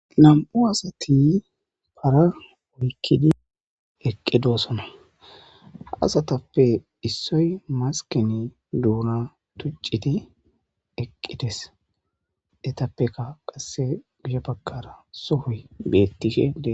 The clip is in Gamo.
Nam'u asati para oykkidi eqqidosona hasatappe issoy maskini duuna tucciti eqqides detappeka qasse giya bagkara sohoy bettikkedee.